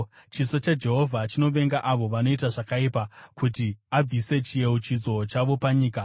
chiso chaJehovha chinovenga avo vanoita zvakaipa, kuti abvise chiyeuchidzo chavo panyika.